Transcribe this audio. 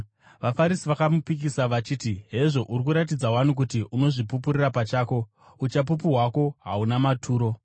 VaFarisi vakamupikisa vachiti, “Hezvo, uri kuratidza wani kuti unozvipupurira pachako; uchapupu hwako hahuna maturo.”